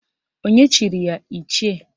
Onye chiri ya Ichie?